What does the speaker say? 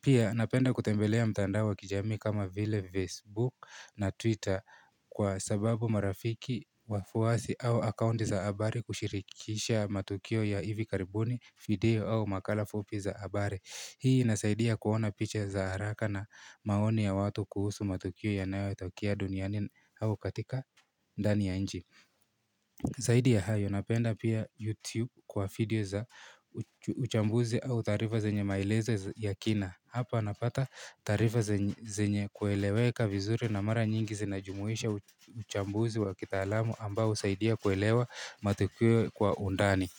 Pia napenda kutembelea mtandao wa kijamii kama vile Facebook na Twitter. Kwa sababu marafiki wafuwasi au akaunti za habari kushirikisha matukio ya hivi karibuni video au makala fupi za habari. Hii inasaidia kuona picha za haraka na maoni ya watu kuhusu matukio yanayotokea duniani au katika ndani ya nchi Zaidi ya hayo napenda pia YouTube kwa video za uchambuzi au tarifa zenye maelezo ya kina. Hapa napata tarifa zenye kueleweka vizuri na mara nyingi zinajumuisha uchambuzi wa kitalamu ambao husaidia kuelewa matukio kwa undani.